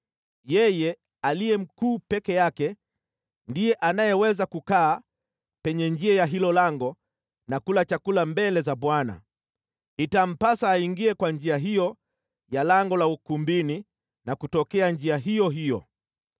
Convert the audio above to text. Yeye aliye mkuu peke yake ndiye anayeweza kukaa penye njia ya hilo lango na kula chakula mbele za Bwana . Itampasa aingie kwa njia hiyo ya lango la ukumbini na kutokea njia iyo hiyo.”